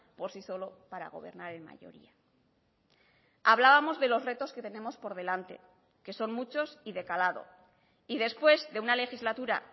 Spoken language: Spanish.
por sí solo para gobernar en mayoría hablábamos de los retos que tenemos por delante que son muchos y de calado y después de una legislatura